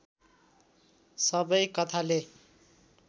सबै कथाले